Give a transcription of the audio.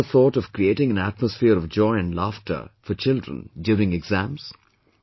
Have you ever thought of creating an atmosphere of joy and laughter for children during exams